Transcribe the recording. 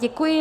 Děkuji.